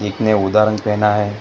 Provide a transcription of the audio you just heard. एक ने उदाहरण पहना है।